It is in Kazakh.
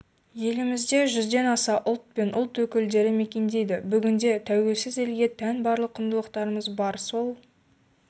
елімізде жүзден аса ұлт пен ұлт өкілдері мекендейді бүгінде тәуелсіз елге тән барлық құндылықтарымыз бар сол